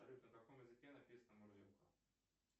салют на каком языке написана мурзилка